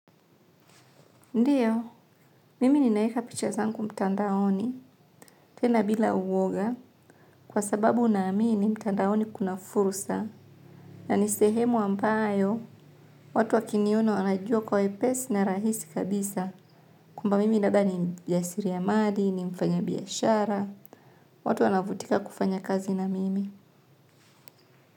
Ndio mimi ninaweka picha zangu mtandaoni, tena bila uoga kwa sababu naamini mtandaoni kuna fursa na ni sehemu ambayo watu wakiniona wanajua kwa wepesi na rahisi kabisa kama labda mimi ni mjasiriamali, ni mfanyabiashara watu kuvutika kufanya kazi na mimi.